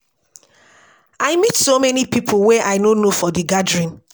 I meet so many people wey I no know for the gathering